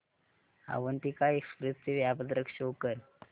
Avantika express चे वेळापत्रक show कर